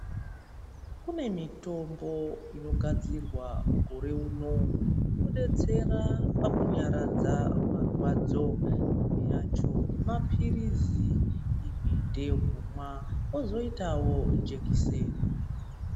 Kune mitombo inogadzirwa mukore uno inobetsera pakunyaradza marwadzo. Imwe yacho maphirizi, imwe ndeyekumwa kozoitawo jekiseni.